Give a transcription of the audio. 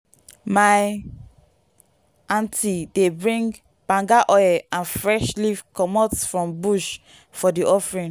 my auntie dey bring banga oil and fresh leaf comot from bush for di offering.